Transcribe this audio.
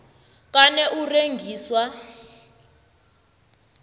kana u rengiswa